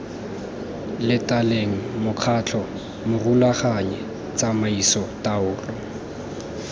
latelang mokgatlho morulaganyi tsamaiso taolo